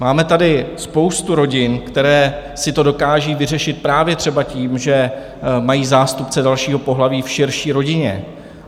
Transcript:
Máme tady spoustu rodin, které si to dokážou vyřešit právě třeba tím, že mají zástupce dalšího pohlaví v širší rodině.